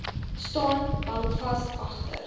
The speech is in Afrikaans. staan bankvas agter